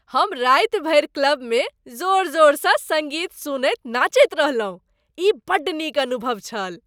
हम राति भरि क्लबमे जोर जोरसँ सङ्गीत सुनैत नाचैत रहलहुँ। ई बड्ड नीक अनुभव छल।